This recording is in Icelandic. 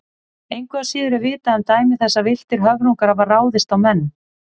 Engu að síður er vitað um dæmi þess að villtir höfrungar hafi ráðist á menn.